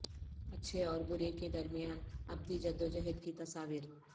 اچھے اور برے کے درمیان ابدی جدوجہد کی تصاویر